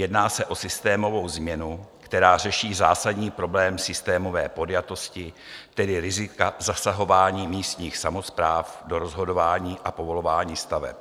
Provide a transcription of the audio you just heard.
Jedná se o systémovou změnu, která řeší zásadní problém systémové podjatosti, tedy rizika zasahování místních samospráv do rozhodování o povolování staveb.